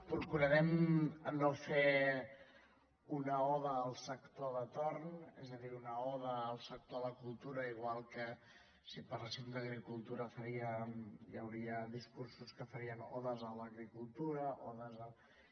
procurarem no fer una oda al sector de torn és a dir una oda al sector de la cultura igual que si parléssim d’agricultura hi hauria discursos que farien odes a l’agricultura odes a